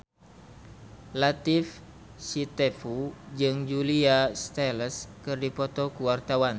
Latief Sitepu jeung Julia Stiles keur dipoto ku wartawan